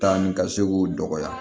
Taa ni ka se k'o dɔgɔya